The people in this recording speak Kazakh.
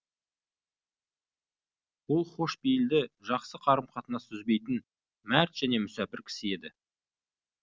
ол хош пейілді жақсы қарым қатынасты үзбейтін мәрт және мүсәпір кісі еді